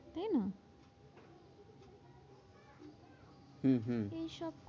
হম হম এইসব